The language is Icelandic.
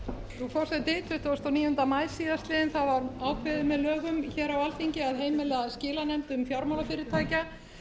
forseti tuttugasta og níunda maí síðastliðinn var ákveðið með lögum frá alþingi að heimila skilanefndum fjármálafyrirtækja